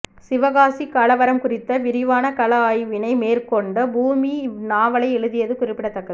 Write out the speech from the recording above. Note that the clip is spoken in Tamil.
சிவகாசிக்கலவரம் குறித்த விரிவான களஆய்வினை மேற்கொண்டு பூமணி இந்நாவலை எழுதியது குறிப்பிடத்தக்கது